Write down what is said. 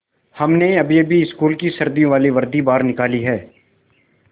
हमने अभीअभी स्कूल की सर्दियों वाली वर्दी बाहर निकाली है